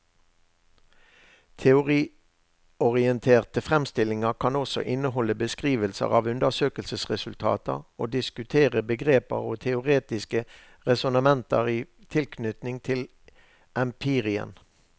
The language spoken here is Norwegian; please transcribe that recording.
Teoriorienterte fremstillinger kan også inneholde beskrivelser av undersøkelsesresultater og diskutere begreper og teoretiske resonnementer i tilknytning til empirien.